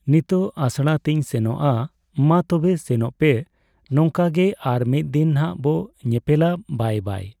ᱱᱤᱛᱚᱜ ᱟᱥᱲᱟᱛᱤᱸᱧ ᱥᱮᱱᱚᱜᱼᱟ ᱢᱟ ᱛᱚᱵᱮ ᱥᱮᱱᱚᱜᱼᱯᱮ, ᱱᱚᱝᱠᱟᱜᱮ ᱟᱨ ᱢᱤᱫ ᱫᱤᱱ ᱱᱟᱜ ᱵᱚ ᱧᱮᱯᱮᱞᱟ ᱵᱟᱭ ᱵᱟᱭ